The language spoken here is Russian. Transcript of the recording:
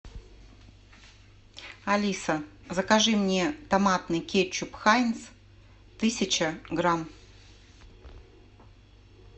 алиса закажи мне томатный кетчуп хайнц тысяча грамм